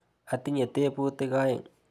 Atinye teputik aeng'.